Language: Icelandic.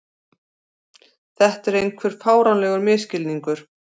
Þetta er einhver fáránlegur misskilningur.